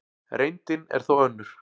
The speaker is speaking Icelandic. Reyndin er þó önnur.